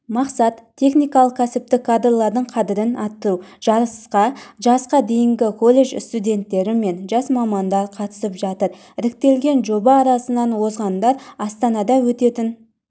мақсат техникалық-кәсіптік кадрлардың қадірін арттыру жарысқа жасқа дейінгі колледж студенттері мен жас мамандар қатысып жатыр іріктелген жоба арасынан озғандар астанада өтетін